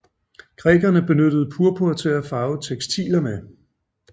Grækerne benyttede purpur til at farve tekstiler med